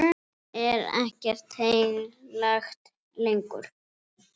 Finnst það kerlu honum líkt.